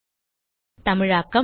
தமிழாக்கம் பிரியா